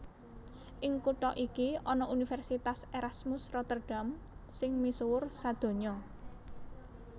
Ing kutha iki ana Universitas Erasmus Rotterdam sing misuwur sadonya